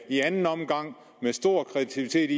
i anden omgang med stor kreativitet